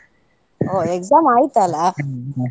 ಹೋ exam ಆಯ್ತ್ ಅಲಾ.